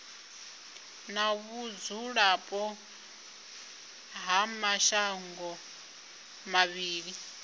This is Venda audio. na vhudzulapo ha mashango mavhili